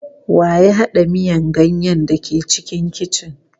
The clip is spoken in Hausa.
Wa ya haɗa miyan ganyen da ke cikin kicin.